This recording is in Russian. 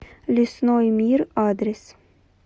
лесной мир адрес